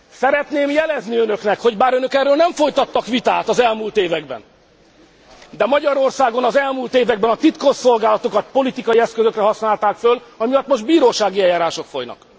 Szeretném jelezni önöknek, hogy bár önök erről nem folytattak vitát az elmúlt években, de Magyarországon az elmúlt években a titkosszolgálatokat politikai eszközökre használták föl, ami miatt most bírósági eljárások folynak.